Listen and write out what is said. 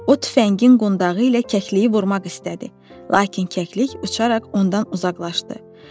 O tüfəngin qundağı ilə kəkliyi vurmaq istədi, lakin kəklik uçaraq ondan uzaqlaşdı.